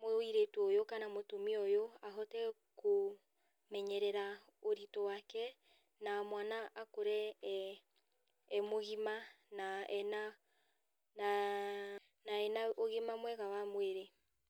mũirĩtu ũyũ kana mũtumia ũyũ ahote kũmenyerera ũritũ wake na mwana akũre eeh emũgima na ena na ena ũgima mwega wa mwĩrĩ.